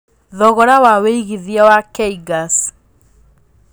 thogora wa wĩigĩthĩa wa kgas